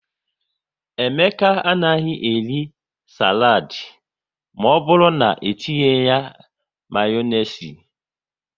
Emeka anaghị eri saladi maọbụru na-, etinye ya Mayonezi